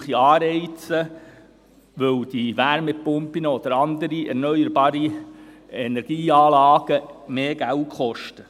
Zudem brauche es Anreize, weil die Wärmepumpen oder andere erneuerbare Energieanlagen mehr Geld kosten.